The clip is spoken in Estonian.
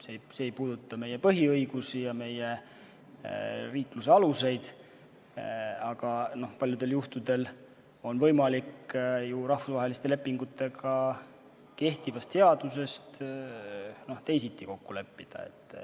See ei puuduta meie põhiõigusi ega meie riikluse aluseid, aga paljudel juhtudel on võimalik rahvusvaheliste lepingutega kokku leppida teisiti, kui on sätestatud kehtivas seaduses.